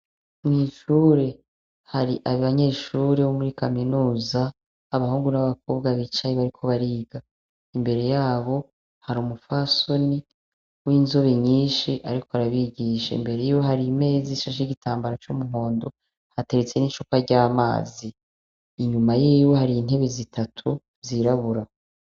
mwishure hari abanyeshure bo muri kaminuza abahungu n'abakobwa bicaye bariko bariga imbere yabo hari umufasoni w'inzobe nyinshi ariko arabigishe mbere yiwe hari imezi ishashe nigitambaro cy'umuhondo hateretse n'ichupa ry'amazi inyuma y'ibe hari intebe zitatu zirabura